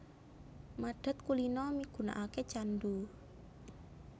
Madhat kulina migunaake candhu